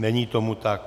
Není tomu tak.